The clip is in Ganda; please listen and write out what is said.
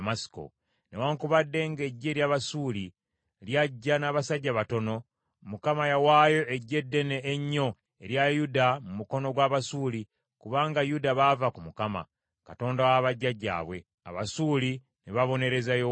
Newaakubadde ng’eggye ery’Abasuuli ly’ajja n’abasajja batono, Mukama yawaayo eggye eddene ennyo erya Yuda mu mukono gw’Abasuuli kubanga Yuda baava ku Mukama , Katonda wa bajjajjaabwe. Abasuuli ne babonereza Yowaasi.